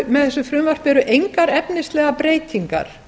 með þessu frumvarpi eru engar efnislegar breytingar